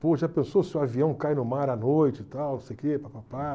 Pô, já pensou se o avião cai no mar à noite e tal? Não sei o quê